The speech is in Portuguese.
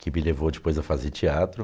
que me levou depois a fazer teatro.